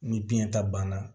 Ni biɲɛ ta banna